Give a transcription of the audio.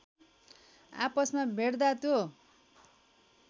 आपसमा भेट्दा त्यो